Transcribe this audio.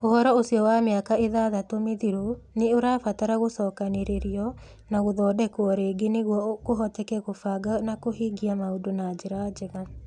Ũhoro ũcio wa mĩaka ithathatũ mĩthiru nĩ ũrabatara gũcokanĩrĩrio na gũthondekwo rĩngĩ nĩguo kũhoteke kũbanga na kũhingia maũndũ na njĩra njega.